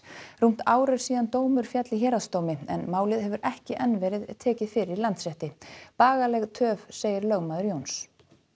rúmt ár er síðan dómur féll í héraðsdómi en málið hefur ekki enn verið tekið fyrir í Landsrétti bagaleg töf segir lögmaður Jóns